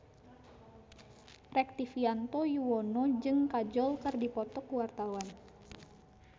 Rektivianto Yoewono jeung Kajol keur dipoto ku wartawan